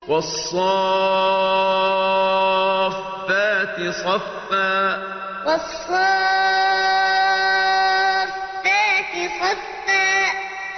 وَالصَّافَّاتِ صَفًّا وَالصَّافَّاتِ صَفًّا